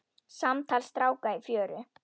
Samtal stráka í fjöru